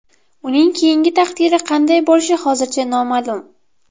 Uning keyingi taqdiri qanday bo‘lishi hozircha noma’lum.